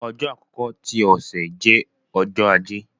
ọjọ àkọkọ ti ọsẹ jẹ Ọjọ́ Ajé.